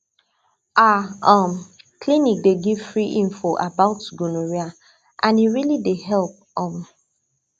our um clinic dey give free info about gonorrhea and e really dey help um